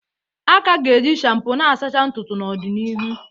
A ka ga-eji shampoo n'asachaa ntutu n'ọdịnihu